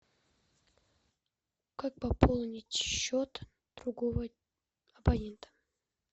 как пополнить счет другого абонента